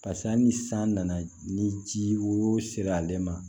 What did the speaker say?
Paseke hali ni san nana ni ji wo sera ale ma